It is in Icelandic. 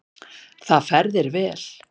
Það fer þér vel.